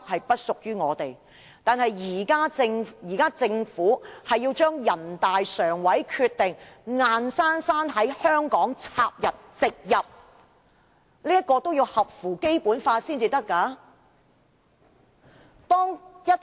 不過，現在政府要將人大常委會的決定硬生生地插入植入香港的法例內，但也得合乎《基本法》才可以。